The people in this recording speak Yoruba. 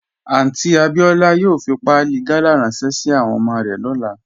Aunty Abiola yòò fí pàálì gàlà ránṣẹ̀ sí àwọn ọmọ rẹ̀ lọ́lá